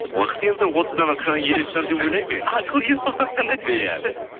уақыт енді отыздан асқаннан кейін келетін шығар деп ойлаймын енді ақыл ес тоқтатқанда десеңізші